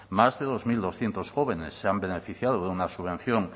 más de dos mil doscientos jóvenes se han beneficiado de una subvención